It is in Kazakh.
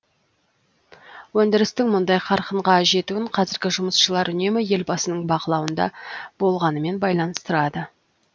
өндірістің мұндай қарқынға жетуін қазіргі жұмысшылар үнемі елбасының бақылауында болғанымен байланыстырады